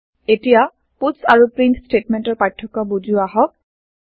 এতিয়া পাটছ আৰু প্ৰিণ্ট চ্টেটমেন্টৰ পাৰ্থক্য বুজো আহক